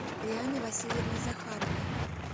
лианны васильевны захаровой